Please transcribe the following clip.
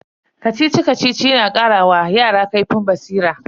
Kacici-Kacici yana kara wa yara kaifin basira.